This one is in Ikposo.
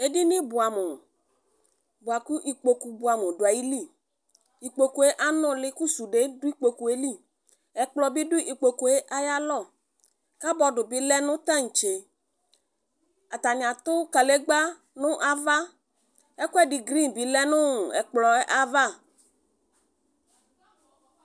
Edini buamu buakʋ ikpoku buamu duayili Ikpokue anuli , kʋ sude dʋ ikpokue liƐkplɔ bi dʋ ikpokue ayalɔkabɔdu bi lɛ nʋ taŋtseAtani atʋ kalegba nʋ avaƐkuedi green bi lɛ nuu ɛkplɔɛ'ava